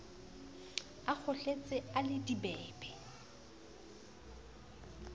a kgohletse a le dibebe